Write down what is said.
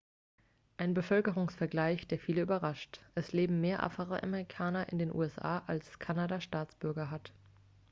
ein bevölkerungsvergleich der viele überrascht es leben mehr afroamerikaner in den usa als kanada staatsbürger hat